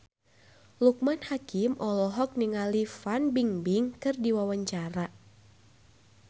Loekman Hakim olohok ningali Fan Bingbing keur diwawancara